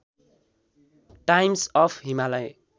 times of Himalaya